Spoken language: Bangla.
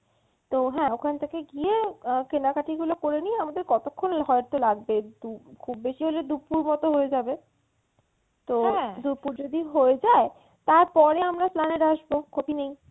তো হ্যাঁ ওখান থেকে গিয়ে কেনাকাটি গুলো করে নিয়ে আমাদের কতক্ষণ হয়তো লাগবে খুব বেশি হলে দুপুর মতো হয়ে যাবে। তো দুপুর যদি হয়ে যায় তারপরে আমরা Esplanade আসবো ক্ষতি নেই।